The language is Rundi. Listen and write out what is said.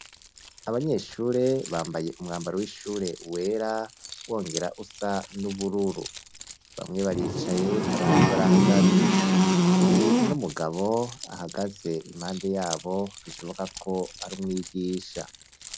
Abanyeshure bambaye umwambaro w'ishure wera wongera usa n'ubururu, bamwe baricaye abandi barahagaze, hari n'umugabo ahagaze impande yabo bishoboka ko ari umwigisha.